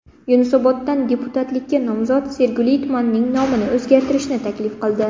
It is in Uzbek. Yunusoboddan deputatlikka nomzod Sergeli tumanining nomini o‘zgartirishni taklif qildi .